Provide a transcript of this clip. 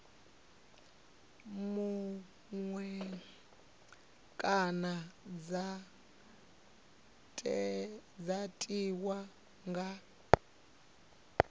muṅwe kana dza tiwa nga